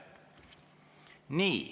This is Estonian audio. Nii.